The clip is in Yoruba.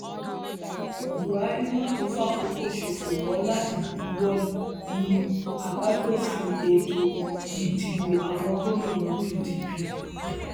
buhari mà tún fàkókò ṣòfò mọ láti buwọ lu àbádòfin ètò ìdìbòàwọn gómìnà pdp